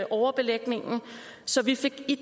overbelægningen så vi fik i